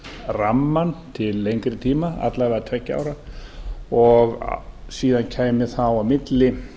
rammann til lengri tíma alla vega tveggja ára og síðan kæmi þá á milli